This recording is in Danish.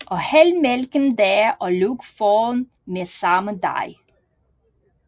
Og hæld mælken deri og luk foroven med samme dej